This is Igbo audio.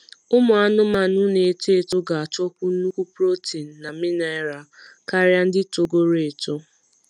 ụmụ anụmanụ na eto eto ga achọkwu nnukwu protein na mineral karia ndị togoro eto